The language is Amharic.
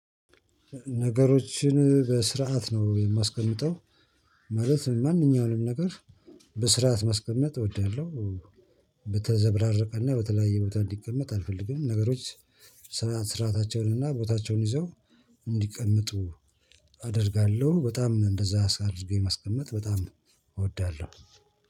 ነገሮችን በስርዓት ነው የማስቀምጠው ማለት ማንኛውንም ነገር በስርዓት ማስቀመጥ እወዳለሁ በተዘበራረቀና በተለያየ ቦታ እንዲቀመጥ አልፈልግም ነገሮች ስርኣታቸው እና ቦታቸውን ይዘው እንዲቀመጡ አደርጋለሁ በጣም እንደዛ አሳርጌ ማስቀመጥ በጣም እወዳለሁ።